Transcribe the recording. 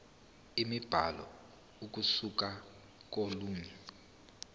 imibhalo ukusuka kolunye